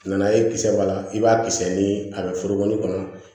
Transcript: N nana ye kisɛ b'a la i b'a kisɛ ni a bɛ forokɔni kɔnɔ